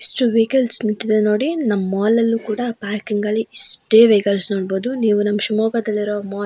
ಎಷ್ಟು ವೈಕಲ್ಸ್ ನಿಂತಿದೆ ನೋಡಿ ನಮ್ಮ ಮಾಲ್ ಅಲ್ಲಿ ಕೂಡ ಪಾರ್ಕಿಂಗ್ ಅಲ್ಲಿ ಇಷ್ಟೇ ವೈಕಲ್ಸ್ ನೋಡ್ಬಹುದು ನೀವು ನಮ್ಮ ಶಿವಮೊಗ್ಗದಲ್ಲಿರೋ ಮಾಲ್ --